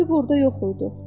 Məktub orda yox idi.